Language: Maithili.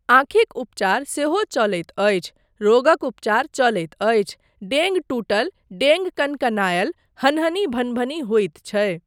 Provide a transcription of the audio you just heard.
आँखिक उपचार सेहो चलैत अछि, रोगक उपचार चलैत अछि, डेङ्ग टुटल, डेङ्ग कङ्कनायल, हनहनी भनभनी होइत छै।